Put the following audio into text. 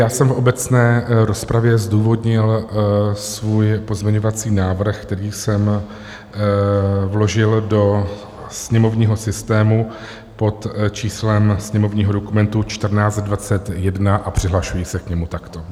Já jsem v obecné rozpravě zdůvodnil svůj pozměňovací návrh, který jsem vložil do sněmovního systému pod číslem sněmovního dokumentu 1421, a přihlašuji se k němu takto.